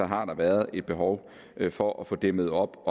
har været et behov for at få dæmmet op